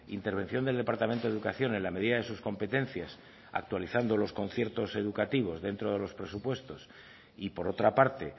intervención del departamento de educación en la medida de sus competencias actualizando los conciertos educativos dentro de los presupuestos y por otra parte